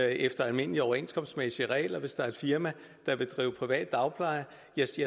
efter almindelige overenskomstmæssige regler hvis der er et firma der vil drive privat dagpleje